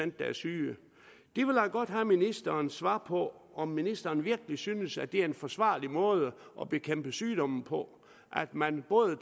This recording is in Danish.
der er syge jeg vil godt have ministerens svar på om ministeren virkelig synes at det er en forsvarlig måde at bekæmpe sygdomme på at man både